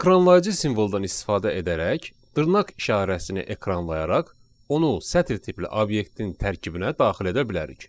Ekranlayıcı simvoldan istifadə edərək dırnaq işarəsini ekranlayaraq onu sətir tipli obyektin tərkibinə daxil edə bilərik.